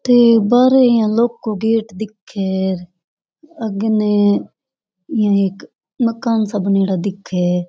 थे बाहरे इया लौह को गेट दिखे है आगे ने एक इया मकान सा बनेड़ा दिखे है।